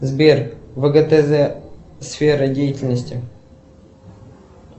сбер вгтз сфера деятельности